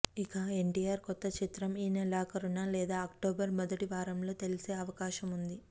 ఇక ఎన్టీఆర్ కొత్త చిత్రం ఈ నెలాఖరున లేదా అక్టోబర్ మొదటి వారంలో తెలిసే అవకాశం ఉంది